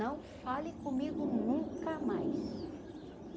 Não fale comigo nunca mais.